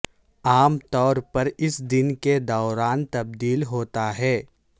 عام طور پر اس دن کے دوران تبدیل ہوتا ہے